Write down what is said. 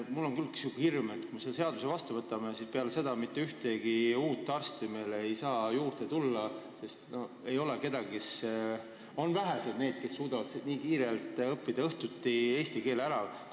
Mul on küll hirm, et kui me selle seaduse vastu võtame, siis mitte ühtegi uut arsti meile ei saa tööle tulla, sest vaid vähesed suudavad nii kiirelt õhtuti eesti keele ära õppida.